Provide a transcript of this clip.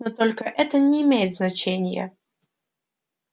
но только это не имеет значения